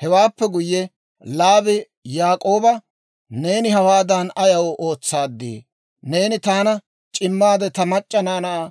Hewaappe guyye Laabi Yaak'ooba, «Neeni hawaadan ayaw ootsaaddii? Neeni taana c'immaade, ta mac'c'a naanaa